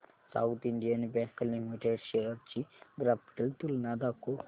south Indian bank limited shares ची graphical तुलना दाखव